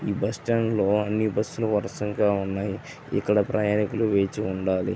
ఈ bus stand లో అన్ని బస్సు లు వరుసగా ఉన్నాయి. ఇక్కడ ప్రయాణికులు వేచి ఉండాలి.